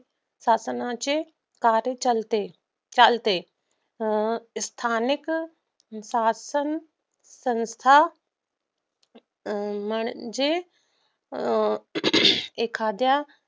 शासणाचे कार्य चालते. स्थानिक शासन संस्था म्हणजेअं एखाद्या